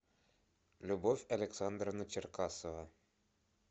любовь александровна черкасова